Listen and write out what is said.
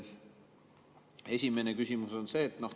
Esimene küsimus on see.